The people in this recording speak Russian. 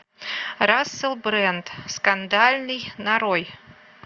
рассел брэнд скандальный нарой